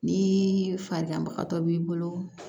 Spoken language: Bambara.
Ni faden ba b'i bolo